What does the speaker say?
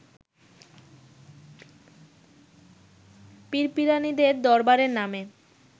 পীর-পীরানীদের দরবারের নামে